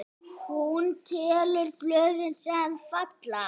Hún telur blöðin, sem falla.